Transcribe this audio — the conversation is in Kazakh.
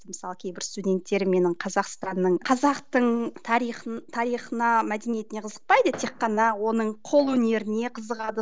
мысалы кейбір студенттер менің қазақстанның қазақтың тарихын тарихына мәдениетіне қызықпайды тек қана оның қол өнеріне қызығады